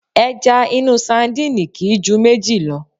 Ẹja inú sadíìnì kì í ju méjì lọ.